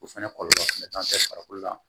O fɛnɛ kɔlɔlɔ fɛnɛ t'an fɛ farikolo la